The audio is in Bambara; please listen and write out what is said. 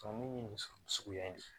nin suguya in de ye